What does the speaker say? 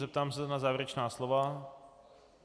Zeptám se na závěrečná slova?